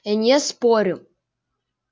я не спорю